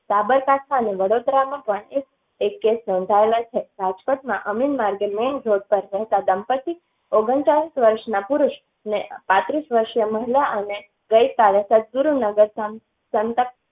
સાબરકાંઠા અને વડોદરા માં એક case નોંધાયેલો છે રાજકોટ માં અમીન માર્ગ main road પર રહેતા દંપતી ઓગણચાલીસ વર્ષના પુરુષ ને પાંત્રીસ વરસિય મહિલા અને ગયી કાલે સદ્યગુરુ નગર માં